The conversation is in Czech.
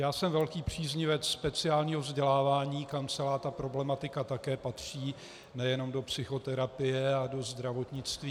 Já jsem velký příznivec speciálního vzdělávání, kam celá ta problematika také patří, nejenom do psychoterapie a do zdravotnictví.